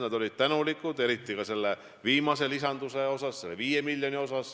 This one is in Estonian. Nad olid tänulikud eriti selle viimase lisanduse eest, selle 5 miljoni eest.